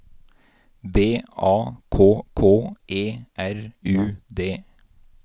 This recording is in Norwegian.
B A K K E R U D